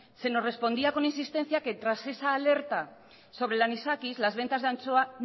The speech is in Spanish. se nos respondía con insistencia que tras esa alerta sobre el anisakis las ventas de anchoa